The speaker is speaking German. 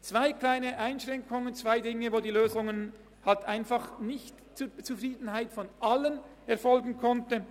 Es gibt zwei kleine Einschränkungen, zwei kleine Bereiche, in welchen die Lösung halt einfach nicht zur Zufriedenheit aller erfolgen konnte.